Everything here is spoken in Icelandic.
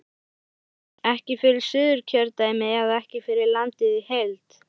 Gunnar: Ekki fyrir Suðurkjördæmi eða ekki fyrir landið í heild?